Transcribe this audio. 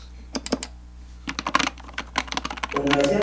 কোন গাছের?